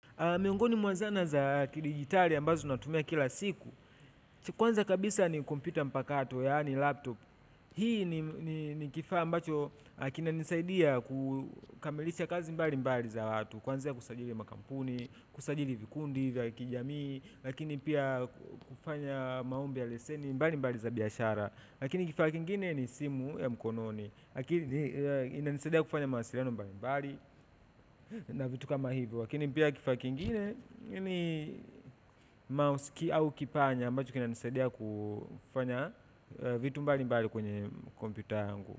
Miongoni mwa zana za dijitali ambazo natumia kila siku kwanza kabisa ni kumpyuta mpakato yaani laptop hii ni kifaa mbacho kina nisaidia kukamilisha kazi mbali mbali za watu kwanza ya kusajili makampuni, kusajili vikundi, vya kijamii lakini pia kufanya maombi ya leseni mbali mbali za biashara lakini kifaa kingine ni simu ya mkononi lakini inanisaidia kufanya mawasiliano mbali mbali na vitu kama hivyo lakini pia kifaa kiingine ni mouse au kipanya ambacho kinanisadia kufanya vitu mbali mbali kwenye kompyuta yangu.